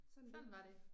Sådan var det